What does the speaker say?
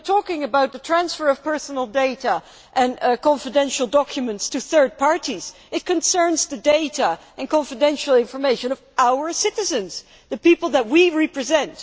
We are talking about the transfer of personal data and confidential documents to third parties, about the data and confidential information of our citizens, the people that we represent.